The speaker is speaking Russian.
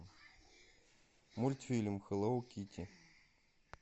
мультфильм хеллоу китти